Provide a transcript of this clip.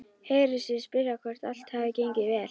Heyrir sig spyrja hvort allt hafi gengið vel.